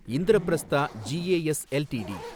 Indraprastha GAS LTD